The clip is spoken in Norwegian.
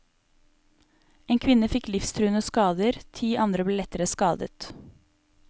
En kvinne fikk livstruende skader, ti andre ble lettere skadet.